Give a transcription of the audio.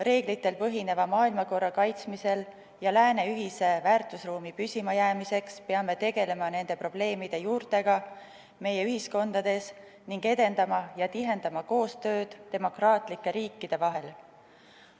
Reeglitel põhineva maailmakorra kaitsmisel ja lääne ühise väärtusruumi püsimajäämiseks peame tegelema nende probleemide juurtega meie ühiskondades ning edendama ja tihendama koostööd demokraatlike riikide vahel.